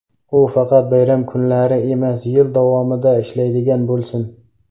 U faqat bayram kunlari emas, yil davomida ishlaydigan bo‘lsin.